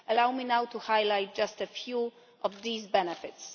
Allow me now to highlight just a few of these benefits.